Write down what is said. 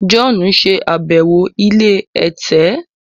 John ṣe àbẹwò ilé ẹ̀tẹ̀.